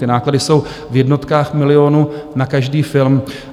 Ty náklady jsou v jednotkách milionů na každý film